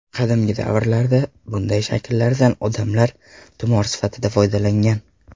Qadimgi vaqtlarda bunday shakllardan odamlar tumor sifatida foydalangan.